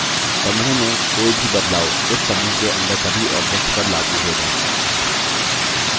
समूह में कोई भी बदलाव उस समूह के अंदर सभी objects पर लागू हो जाएँगे